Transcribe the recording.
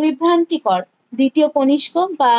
বিভ্রান্তিকর দ্বিতীয় কনিস্ক বা